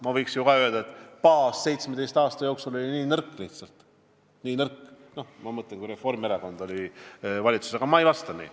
Ma võiksin ju öelda, et baas oli 17 aasta jooksul lihtsalt nii nõrk, ma mõtlen seda aega, kui Reformierakond oli valitsuses, aga ma ei vasta nii.